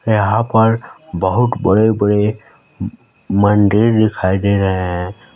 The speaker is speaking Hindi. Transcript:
यहाँ पर बहुत बड़े-बड़े मंदिर दिखाई दे रहे हैं।